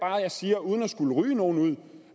jeg siger uden at skulle ryge nogen ud